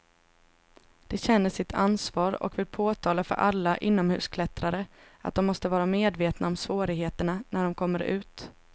De känner sitt ansvar och vill påtala för alla inomhusklättrare att de måste vara medvetna om svårigheterna när de kommer ut.